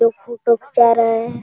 लोग फोटो खींचा रहे है।